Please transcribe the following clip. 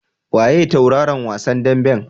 Waye tauraron wasan daɓen?